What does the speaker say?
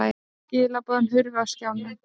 Skilaboðin hurfu af skjánum.